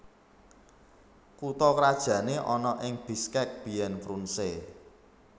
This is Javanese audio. Kutha krajané ana ing Bishkek biyèn Frunze